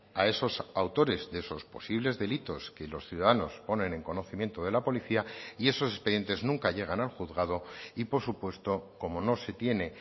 a esos autores de esos posibles delitos que los ciudadanos ponen en conocimiento de la policía y esos expedientes nunca llegan al juzgado y por supuesto como no se tiene